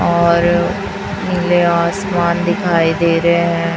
और नीले आसमान दिखाई दे रहे हैं।